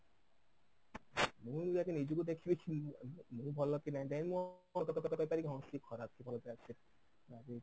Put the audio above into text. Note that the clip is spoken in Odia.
ମୁଁ ଆଗେ ନିଜକୁ ଦେଖିବି କି ମୁଁ ଆଗେ ଭଲ କି ନାହିଁ then ମୋ ହଁ ସେ ଖରାପ କି ଭଲ